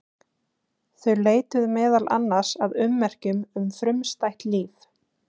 Þau leituðu meðal annars að ummerkjum um frumstætt líf.